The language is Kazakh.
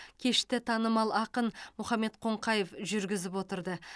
кешті танымал ақын мұхаммед қонқаев жүргізіп отырды